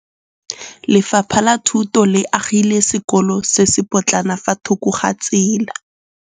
Lefapha la Thuto le agile sekôlô se se pôtlana fa thoko ga tsela.